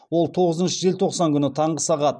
ол тоғызыншы желтоқсан күні таңғы сағат